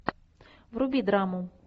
вруби драму